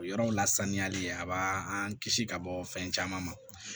O yɔrɔ la saniyali a b'an kisi ka bɔ fɛn caman ma